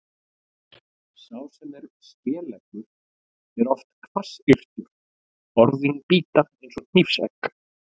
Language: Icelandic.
Sá sem er skeleggur er oft hvassyrtur, orðin bíta eins og hnífsegg.